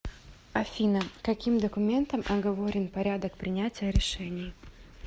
афина каким документом оговорен порядок принятия решений